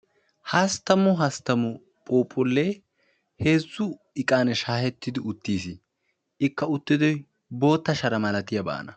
Hasttamu hasttamu phuuphullee heezzu iqan shaahettidi uttiis; ikka uttidoy bootta shara malatiyaabana.